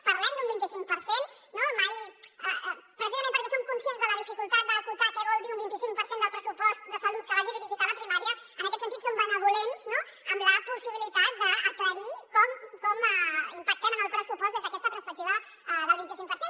parlem d’un vint i cinc per cent no precisament perquè som conscients de la dificultat d’acotar què vol dir un vint i cinc per cent del pressupost de salut que vagi dirigit a la primària en aquest sentit som benvolents amb la possibilitat d’aclarir com impactem en el pressupost des d’aquesta perspectiva del vint i cinc per cent